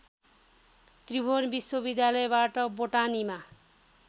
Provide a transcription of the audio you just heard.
त्रिभुवन विश्वविद्यालयबाट बोटानीमा